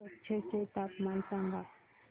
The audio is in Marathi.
कच्छ चे तापमान सांगा